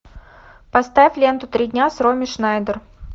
поставь ленту три дня с роми шнайдер